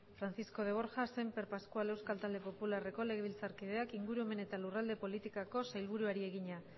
francisco de borja semper pascual euskal talde popularreko legebiltzarkideak ingurumen eta lurralde politikako sailburuari egina